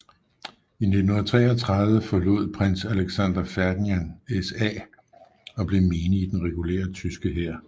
I 1933 forlod Prins Alexander Ferdinand SA og blev menig i den regulære tyske hær